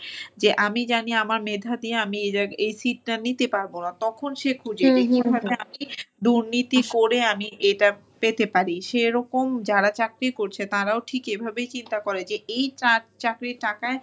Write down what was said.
যে আমি জানি আমার মেধা দিয়ে আমি এই seat টা নিতে পারবো না। তখন সে খোঁজে আমি দুর্নীতি করে আমি এটা পেতে পারি। সেরকম যারা চাকরি করছে তারাও ঠিক এভাবেই চিন্তা করে যে চাক~ চাকরির টাকায়,